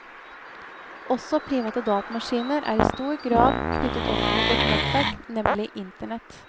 Også private datamaskiner er i stor grad knyttet opp mot et nettverk, nemlig internett.